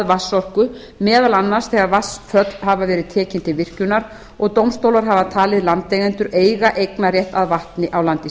vatnsorku meðal annars þegar vatnsföll hafa verið tekin til virkjunar og dómstólar hafa talið landeigendur eiga eignarrétt að vatni á landi